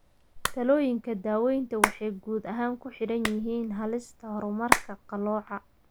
Talooyinka daawaynta waxay guud ahaan ku xidhan yihiin halista horumarka qalooca.